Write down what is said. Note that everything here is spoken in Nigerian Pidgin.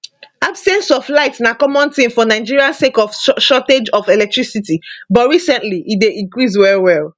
absence of light na common tin for nigeria sake of shortage of electricity but recently e dey increase well well